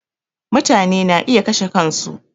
Mutane na iya kashe kan su